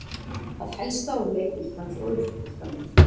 Það helsta úr leik Íslands og Austur-Þýskalands